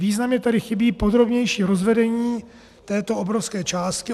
Významně tady chybí podrobnější rozvedení této obrovské částky.